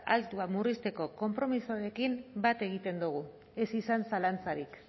altua murrizteko konpromisoarekin bat egiten dugu ez izan zalantzarik